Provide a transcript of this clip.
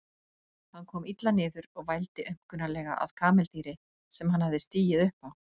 Hann kom illa niður og vældi aumkunarlega að kameldýri sem hann hafði stigið upp á.